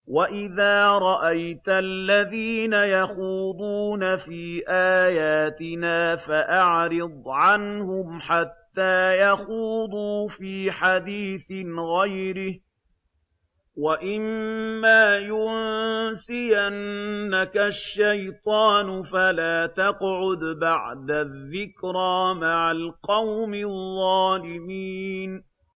وَإِذَا رَأَيْتَ الَّذِينَ يَخُوضُونَ فِي آيَاتِنَا فَأَعْرِضْ عَنْهُمْ حَتَّىٰ يَخُوضُوا فِي حَدِيثٍ غَيْرِهِ ۚ وَإِمَّا يُنسِيَنَّكَ الشَّيْطَانُ فَلَا تَقْعُدْ بَعْدَ الذِّكْرَىٰ مَعَ الْقَوْمِ الظَّالِمِينَ